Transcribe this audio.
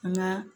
An ka